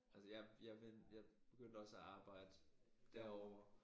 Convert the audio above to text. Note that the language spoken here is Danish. Altså jeg jeg jeg begyndte også at arbejde derovre